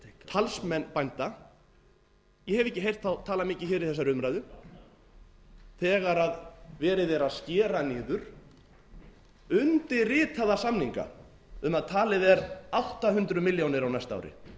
talsmenn bænda ég hef ekki heyrt þá tala mikið hér í þessari umræðu þegar verið er að skera niður undirritaða samninga um að talið er átta hundruð milljónir á næsta ári